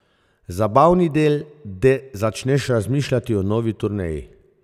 Zabavni del, de začneš razmišljati o novi turneji.